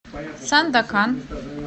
сандакан